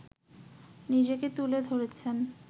নিজেকে তুলে ধরেছেন